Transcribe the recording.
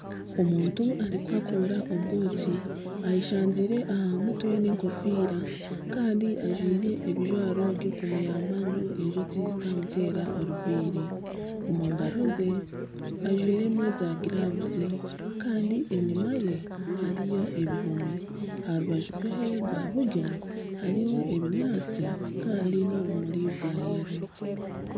Omuntu arikuhakuura obwoki ayeshangiire aha mutwe n'enkofiira kandi ajwaire ebijwaro by'okumuyamba ngu enjoki zitamuteera oruviiri. Omu ngaro ze ajwairemu zaagiravuzi kandi enyima hariyo ebihomi. Ha rubaju rwe rwa buryo hariho ebinyaatsi kandi n'obumuri bwa yero.